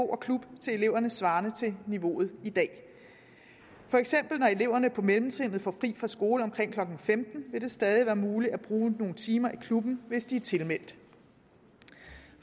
og klub til eleverne svarende til niveauet i dag for eksempel når eleverne på mellemtrinnet får fri fra skole omkring klokken femten vil det stadig være muligt at bruge nogle timer i klubben hvis de er tilmeldt